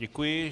Děkuji.